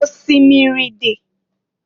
Osimiri dị.